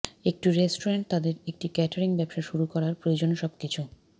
একটি রেস্টুরেন্ট তাদের একটি কেটারিং ব্যবসা শুরু করার প্রয়োজন সবকিছু